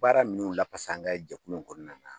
Baara minnu lafasa an ka jɛkulu in kɔnɔna na